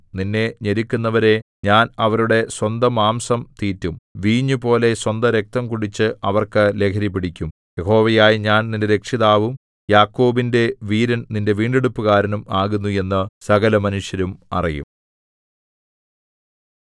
നിന്നെ ഞെരുക്കുന്നവരെ ഞാൻ അവരുടെ സ്വന്തമാംസം തീറ്റും വീഞ്ഞുപോലെ സ്വന്തരക്തം കുടിച്ച് അവർക്ക് ലഹരിപിടിക്കും യഹോവയായ ഞാൻ നിന്റെ രക്ഷിതാവും യാക്കോബിന്റെ വീരൻ നിന്റെ വീണ്ടെടുപ്പുകാരനും ആകുന്നു എന്നു സകലമനുഷ്യരും അറിയും